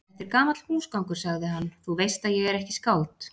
Þetta er gamall húsgangur, sagði hann,-þú veist að ég er ekki skáld.